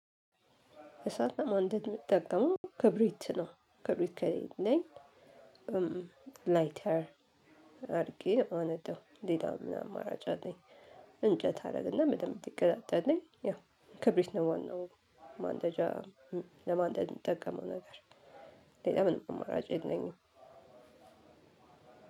እሳት ለማንደድ የምትጠቀመው ክብሪት ነው። ክብሪት ከሌለኝ ላይተር አድርጊ ማነደው ሌላው ምን አማራጭ አለኝ! እንጨት አደረግና በደንብ እንዲቀጣጠልልኝ ያ ክብሪት ነው ዋናው ማንደጃ ለማንደድ የምጠቀመው ነገር ሌላ ምንም አማራጭ የለኝም።